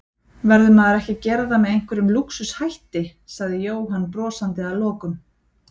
Verður maður ekki að gera það með einhverjum lúxus hætti? sagði Jóhann brosandi að lokum.